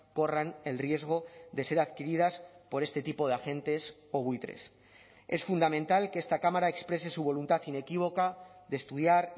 corran el riesgo de ser adquiridas por este tipo de agentes o buitres es fundamental que esta cámara exprese su voluntad inequívoca de estudiar